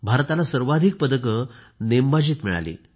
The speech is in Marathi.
भारताला सर्वाधिक पदक नेमबाजीत मिळाली